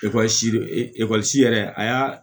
yɛrɛ a y'a